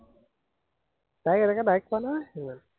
তাইক এনেকে ডাইৰেক্ট পোৱা নাই সিমান